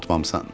Unutmamısan.